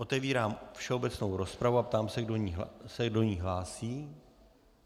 Otevírám všeobecnou rozpravu a ptám se, kdo se do ní hlásí.